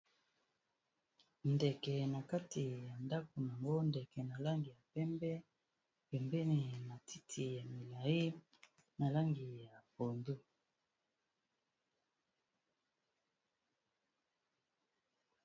Ndeke na kati ya ndako nango ndeke na langi ya pembe pembeni na matiti ya milayi na langi ya pondu